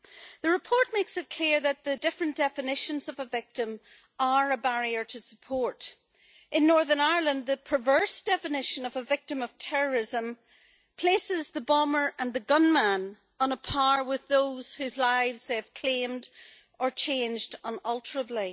The report makes it clear that the different definitions of a victim are a barrier to support. In Northern Ireland, the perverse definition of a victim of terrorism places the bomber and the gunman on a par with those whose lives they've claimed or changed unalterably.